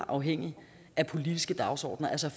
afhængigt af politiske dagsordener altså